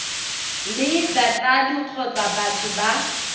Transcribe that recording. le batsadi kgotsa batho ba